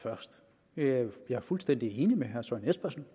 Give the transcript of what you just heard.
først jeg er fuldstændig enig med herre søren espersen